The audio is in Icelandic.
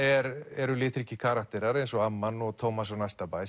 eru litríkir karakterar eins og amman og Tómas á næsta bæ